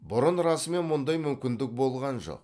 бұрын расымен мұндай мүмкіндік болған жоқ